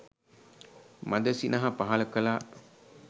මඳ සිනහ පහළ කළා.